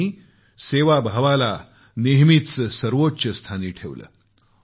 त्यांनी सेवाभावाला नेहमीच सर्वोच्च स्थानी ठेवलं